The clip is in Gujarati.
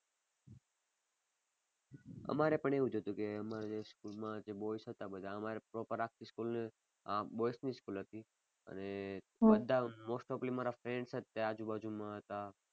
અમારે પણ એવું જ હતું કે અમારે જે school માં જે boys હતા અમારે proper આખી school અ boys ની જ school હતી અને બધા most of બધા મારા friends જ તે આજુબાજુમાં હતા.